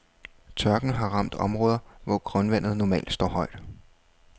Tørken har ramt områder, hvor grundvandet normalt står højt.